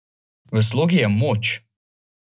V slogi je moč!